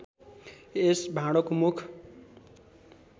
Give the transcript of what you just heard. यस भाँडोको मुख